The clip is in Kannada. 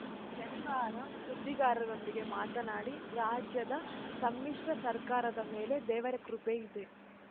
ಶನಿವಾರ ಸುದ್ದಿಗಾರರೊಂದಿಗೆ ಮಾತನಾಡಿ ರಾಜ್ಯದ ಸಮ್ಮಿಶ್ರ ಸರ್ಕಾರದ ಮೇಲೆ ದೇವರ ಕೃಪೆ ಇದೆ